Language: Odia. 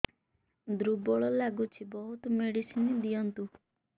ଦୁର୍ବଳ ଲାଗୁଚି ବହୁତ ମେଡିସିନ ଦିଅନ୍ତୁ